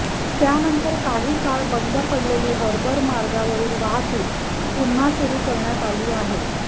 त्यानंतर काही काळ बंद पडलेली हार्बर मार्गावरील वाहतूक पुन्हा सुरू करण्यात आली आहे